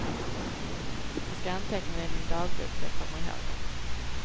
Jag ska anteckna det i min dagbok så jag kommer ihåg det.